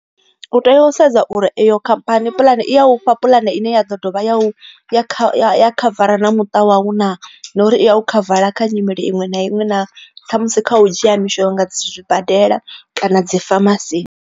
U tea u sedza uri eyo khamphani puḽani i ya u fha puḽane ine ya ḓo dovha ya kha ya khavara na muṱa wau na, na uri i ya u khavara kha nyimele iṅwe na iṅwe na kha musi kha u dzhia mishonga zwibadela kana dzi famasini.